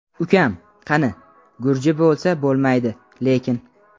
Ukam: qani, gurji bo‘lsa bo‘lmaydi lekin.